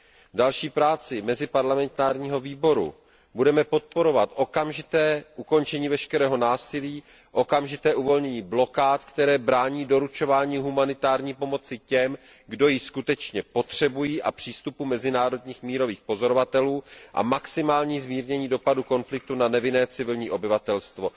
V další práci meziparlamentního výboru budeme podporovat okamžité ukončení veškerého násilí, okamžité uvolnění blokád, které brání doručování humanitární pomoci těm, kdo ji skutečně potřebují, a přístupu mezinárodních mírových pozorovatelů, a maximální zmírnění dopadu konfliktu na nevinné civilní obyvatelstvo.